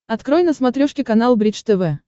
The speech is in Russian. открой на смотрешке канал бридж тв